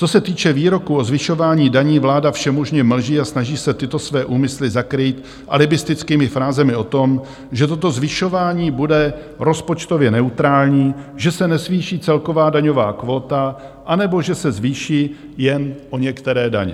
Co se týče výroku o zvyšování daní, vláda všemožně mlží a snaží se tyto své úmysly zakrýt alibistickými frázemi o tom, že toto zvyšování bude rozpočtově neutrální, že se nezvýší celková daňová kvóta, anebo že se zvýší jen o některé daně.